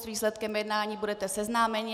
S výsledkem jednání budete seznámeni.